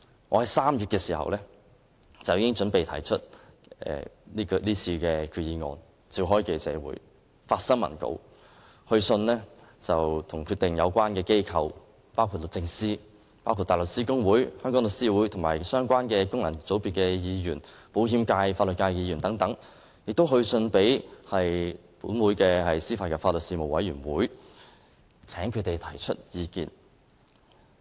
我在3月已經準備為提出今次的決議案召開記者會，發新聞稿，並致函相關機構，包括律政司、香港大律師公會、香港律師會、相關的功能界別議員，包括保險界和法律界的議員，以及本會的司法及法律事務委員會，請他們提出意見。